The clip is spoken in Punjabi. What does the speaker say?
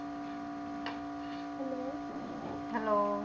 Hello